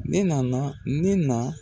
E nana min na